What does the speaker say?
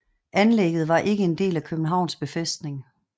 Anlæggget var ikke en del af Københavns befæstning